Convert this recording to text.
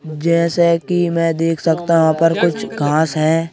जैसे कि मैं देख सकता वहां पर कुछ घांस हैं।